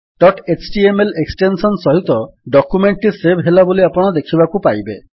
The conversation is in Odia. ଡଟ୍ ଏଚଟିଏମଏଲ ଏକ୍ସଟେନ୍ସନ୍ ସହିତ ଡକ୍ୟୁମେଣ୍ଟ୍ ଟି ସେଭ୍ ହେଲା ବୋଲି ଆପଣ ଦେଖିବାକୁ ପାଇବେ